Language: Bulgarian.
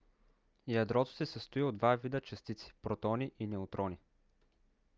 ядрото се състои от два вида частици – протони и неутрони